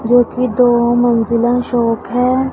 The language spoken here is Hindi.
जो कि दो मंजिला शॉप है।